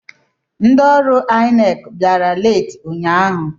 Ndị ọrụ INEC bịara leeti ụnyaahụ.